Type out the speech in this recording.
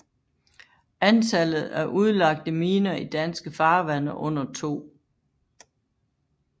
Antallet af udlagte miner i danske farvande under 2